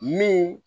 Min